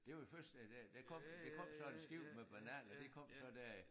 Det var jo først da da der kom der kom sådan en skib med bananer de kom så der i